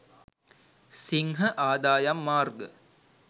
සිංහ ආදායම් මාර්ග